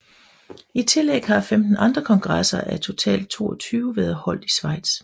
I tillæg har 15 andre kongresser af totalt 22 været holdt i Schweiz